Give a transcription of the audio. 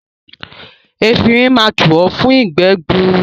Efinrin máa tù ọ́ fún ìgbẹ́ gbuuru.